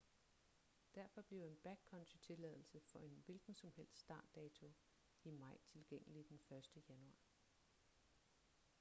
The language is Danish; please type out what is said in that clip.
derfor bliver en backcountry-tilladelse for en hvilken som helst startdato i maj tilgængelig den 1. januar